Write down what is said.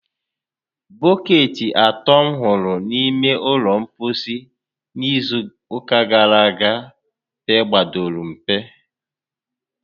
Bọkeetị atọ m hụrụ n'ime ụlọ mposi n' izu ụka gara aga pegbadoro mpe